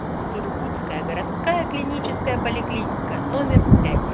сургутская городская клиническая поликлиника номер пять